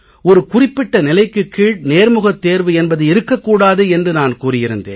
ஒரு குறிப்பிட்ட நிலைக்குக் கீழ் நேர்முகத் தேர்வு என்பது இருக்க கூடாது என்று நான் கூறியிருந்தேன்